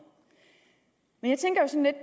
men